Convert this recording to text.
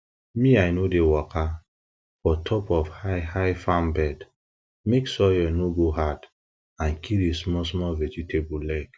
me i no dey waka for top of highhigh farm bed mek soil no go hard and kill di smallsmall vegetable leg